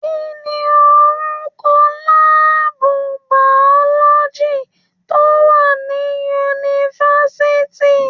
Kí ni orúkọ láàbù biology tó wà ní yunifásitì?